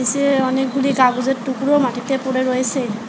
নিচে-এ অনেকগুলি কাগজের টুকরো মাটিতে পড়ে রয়েসে।